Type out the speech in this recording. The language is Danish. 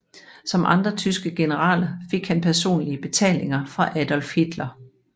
Som andre tyske generaler fik han personlige betalinger fra Adolf Hitler